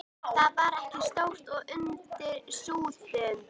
Það var ekki stórt og undir súðum.